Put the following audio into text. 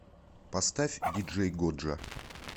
поставь диджей годжа